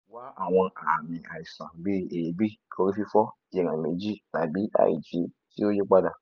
wa awọn aami aisan bii eebi orififo iran meji tabi aiji ti o yipada